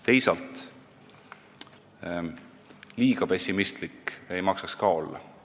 Teisalt, liiga pessimistlik ei maksa ka olla.